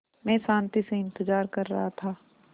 मैं शान्ति से इंतज़ार कर रहा था